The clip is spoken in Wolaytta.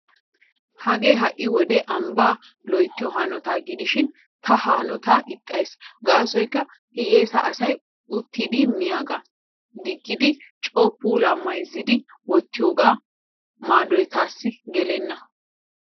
Hagee ha"i wode ambbaa loyttiyo hanotaa gidishin ta ha hanootaa ixxays. Gaasoykka hiyyeesa asay oottidi miyagaa diggidi coo puulaa mayzzidi wottiigiyogaa maadoy taassi gelenna.